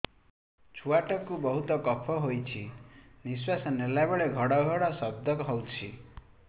ଛୁଆ ଟା କୁ ବହୁତ କଫ ହୋଇଛି ନିଶ୍ୱାସ ନେଲା ବେଳେ ଘଡ ଘଡ ଶବ୍ଦ ହଉଛି